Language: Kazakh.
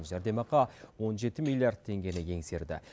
жәрдемақы он жеті миллиард теңгені еңсерді